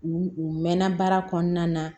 U u mɛnna baara kɔnɔna na